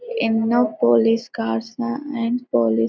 ఎన్నో police cars and police--